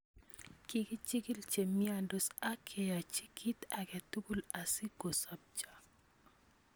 Kikichikil chemyondos ak keyaachi kiit ake tukuul asi kosobcho